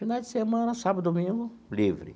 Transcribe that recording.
Finais de semana, sábado e domingo, livre.